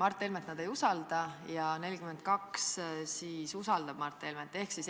Mart Helmet ei usalda, ja 42 usaldasid Mart Helmet.